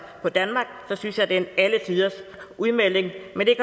på danmark så synes jeg det er en alletiders udmelding men det